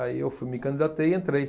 Aí eu fui, me candidatei e entrei.